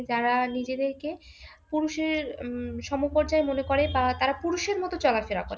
যারা নিজেদেরকে পুরুষের উম সমপর্যায়ে মনে করে, আর তারা পুরুষের মতো চলাফেরা করে।